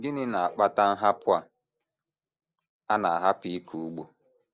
Gịnị na - akpata nhapụ a a na - ahapụ ịkọ ugbo?